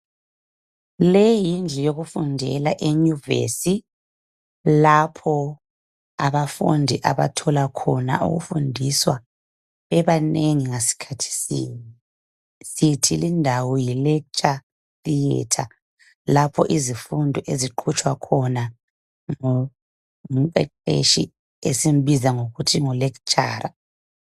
Leyi yindlu yokufundela enyuvesi lapho abafundi abathola khona ukufundiswa bebanengi ngasikhathi sinye. Sithi lindawo li lecture thiyetha, lapho izifundo eziqhutshwa khona ngumqeqetshi esimbiza ngokuthi ngu Lecturer.